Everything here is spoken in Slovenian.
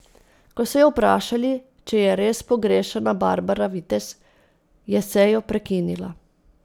Ko so jo vprašali, če je res pogrešana Barbara Vitez, je sejo prekinila.